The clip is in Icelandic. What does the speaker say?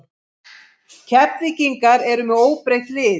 Keflvíkingar eru með óbreytt lið.